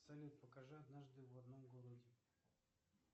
салют покажи однажды в одном городе